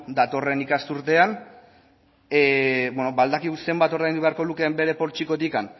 datorren ikasturtean badakigu zenbat ordaindu beharko lukeen bere poltsikotik